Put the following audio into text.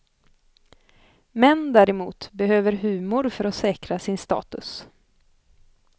Män däremot behöver humor för att säkra sin status.